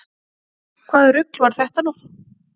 Hvaða rugl var þetta nú?